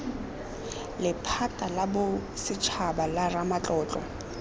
lephata la bosetshaba la ramatlotlo